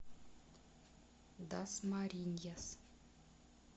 дасмариньяс